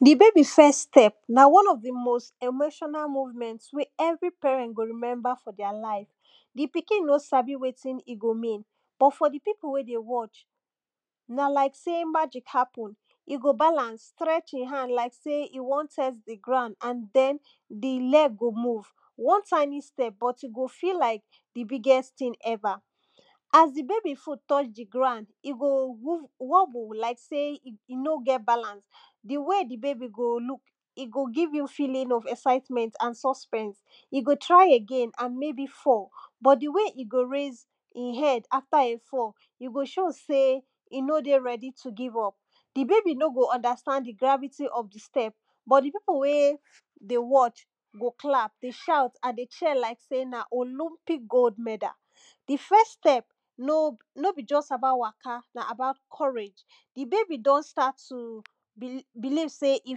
the baby first step na one of the most emotional movement wey every parent go remember for their life the pikin nor sabi wetin e go mean but for the people wey dey watch na like sey magic happen e go balance strech e hand like sey e wan test the ground and then the leg go move one tiny step but e go feel like the biggest thing ever as the baby foot touch the ground e go wob wobble like sey e no get balance the way the baby go look e go give you feeling of excitment and suspense e go try again and maybe fall but the way e go raise in head after e fall i go show sey e no dey ready to give up the baby no go understand the gravity of the step but the people wey dey watch go clap dey shout and dey cheer like sey na olympic gold medal the first step no be just about waka na about courage the baby done start to bel believe sey e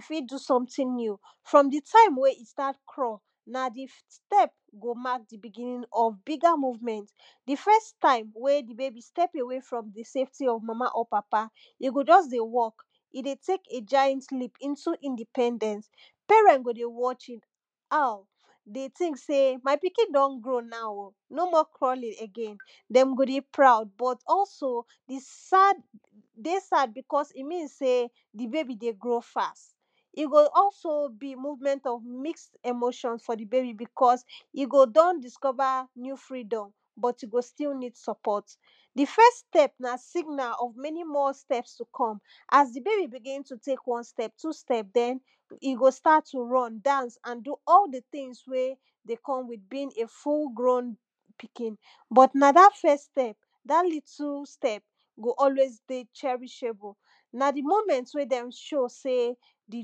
fit do something new from the time when i start crawl na the step go mark yhe begining of bigger movement the first time wey the baby step away from the safety of mama or papa dey go just dey work e dey take giant leep into independence parents go dey watch youm ah dey think say my pikin don grow now o no more crawling again dem go dey proud but also the sad dey sad because e mean sey the baby dey grow fast e go also be movement of mixed emotion for the bebi because e go don discover new freedom but e go still need support the first step na signal of many more step to come as the bbaby begin to take one step two step then e go start to run dance and do all the things wey dey come with being a full grown pikin but na that first step that little step go always dey cherishable na the moment wey dem show sey the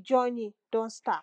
journey don start